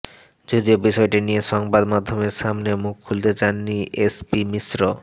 যদিও বিষয়টি নিয়ে সংবাদ মাধ্যমের সামনে মুখ খুলতে চাননি এসপি মিশ্র